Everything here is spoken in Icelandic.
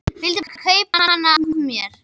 Vildi bara kaupa hana af mér!